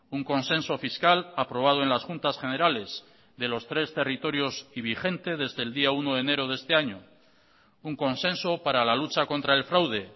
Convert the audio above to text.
un consenso fiscal aprobado en las juntas generales de los tres territorios y vigente desde el día uno de enero de este año un consenso para la lucha contra el fraude